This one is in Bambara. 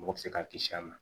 Mɔgɔ bɛ se k'a kisi a ma